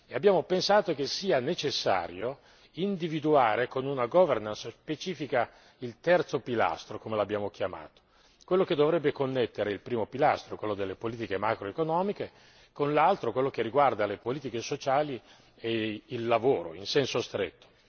Abbiamo pensato che fosse necessario individuare con una governance specifica il terzo pilastro come l'abbiamo chiamato quello che dovrebbe connettere il primo pilastro, quello delle politiche macroeconomiche, con l'altro, quello che riguarda le politiche sociali e il lavoro in senso stretto.